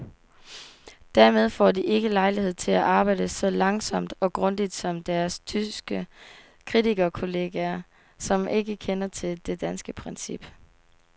Dermed får de ikke lejlighed til at arbejde så langsomt og grundigt som deres tyske kritikerkolleger, som ikke kender til det danske princip.